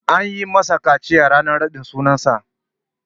An masa kaciya ranar raɗin sunan sa.